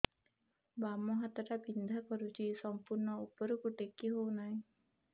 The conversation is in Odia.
ବାମ ହାତ ଟା ବିନ୍ଧା କରୁଛି ସମ୍ପୂର୍ଣ ଉପରକୁ ଟେକି ହୋଉନାହିଁ